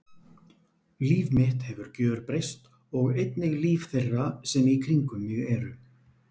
Líf mitt hefur gjörbreyst og einnig líf þeirra sem í kringum mig eru.